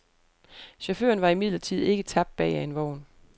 Chaufføren var imidlertid ikke tabt bag af en vogn.